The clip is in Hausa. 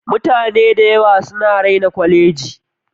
Mutane dayawa suna raina koleji.